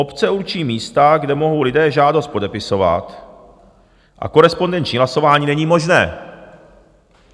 Obce určí místa, kde mohou lidé žádost podepisovat, a korespondenční hlasování není možné.